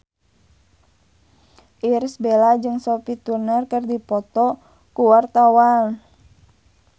Irish Bella jeung Sophie Turner keur dipoto ku wartawan